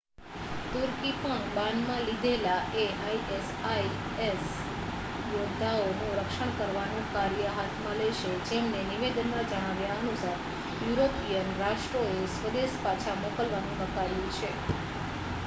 તુર્કી પણ બાનમાં લીધેલા એ isis યોદ્ધાઓનું રક્ષણ કરવાનું કાર્ય હાથમાં લેશે જેમને નિવેદનમાં જણાવ્યા અનુસાર યુરોપિયન રાષ્ટ્રોએ સ્વદેશ પાછા મોકલવાનું નકાર્યું છે